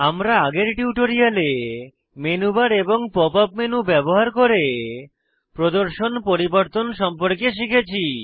আমরা আগের tutorial menu bar এবং পপ আপ মেনু ব্যবহার করে প্রদর্শন পরিবর্তন সম্পর্কে শিখেছি